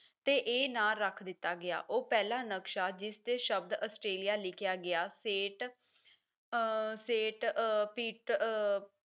ਤੇ ਇਹ ਨਾਂ ਰੱਖ ਦਿੱਤਾ ਗਿਆ ਉਹ ਪਹਿਲਾ ਨਕਸ਼ਾ ਜਿਸ ਤੇ ਸ਼ਬਦ ਆਸਟ੍ਰੇਲੀਆ ਲਿਖਿਆ ਗਿਆ set uh set uh fit ਅਹ